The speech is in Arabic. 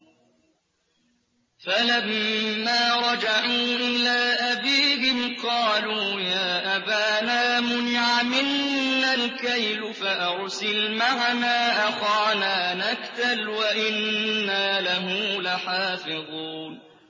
فَلَمَّا رَجَعُوا إِلَىٰ أَبِيهِمْ قَالُوا يَا أَبَانَا مُنِعَ مِنَّا الْكَيْلُ فَأَرْسِلْ مَعَنَا أَخَانَا نَكْتَلْ وَإِنَّا لَهُ لَحَافِظُونَ